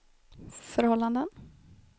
förhållanden